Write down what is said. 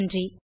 நன்றி